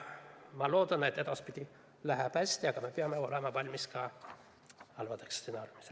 Ma loodan, et edaspidi läheb hästi, aga me peame olema valmis ka halbadeks stsenaariumideks.